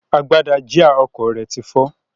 Agbada jíà ọkọ̀ rẹ ti fọ́.